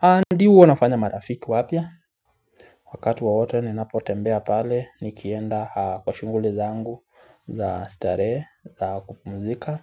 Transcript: Adi huwa nafanya marafiki wapya wakati wowote ninapotembea pale nikienda kwa shughuli zangu za starehe za kupumzika